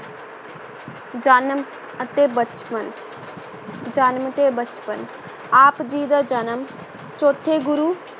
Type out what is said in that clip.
ਜਨਮ ਅਤੇ ਬਚਪਨ ਜਨਮ ਤੇ ਬਚਪਨ, ਆਪ ਜੀ ਦਾ ਜਨਮ ਚੌਥੇ ਗੁਰੂ